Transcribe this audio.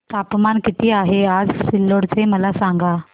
तापमान किती आहे आज सिल्लोड चे मला सांगा